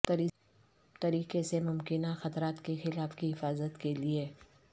طریقے سے ممکنہ خطرات کے خلاف کی حفاظت کے لئے